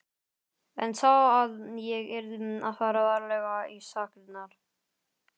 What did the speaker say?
En sá að ég yrði að fara varlega í sakirnar.